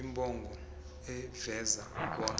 imbongi iveza bona